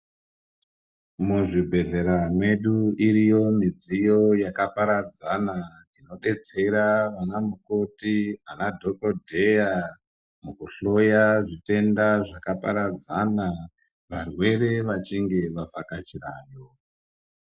Mu zvibhedhlera medu iriyo midziyo yaka paradzana inodetsera vana mukoti ana dhokodheya muku hloya zvitenda zvaka paradzana varwere vachinge va vhakachirayo.